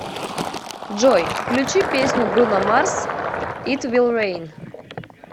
джой включи песню бруно марс ит вил рейн